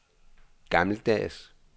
gammeldags